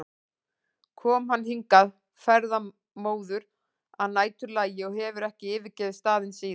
kom hann hingað ferðamóður að næturlagi og hefur ekki yfirgefið staðinn síðan.